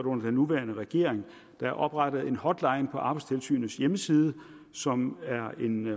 under den nuværende regering der er oprettet en hotline på arbejdstilsynets hjemmeside som er en